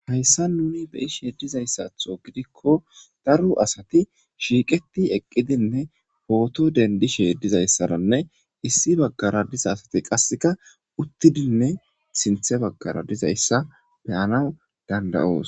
hayssa nuni beishe dizayssatho gidikko daru asati shiiqeti eqqidinne pooto dendi sheedizayssaranne issi baggara diza asati qasseka uttidinne sinthe baggara dizayssa beyanaw dandayoos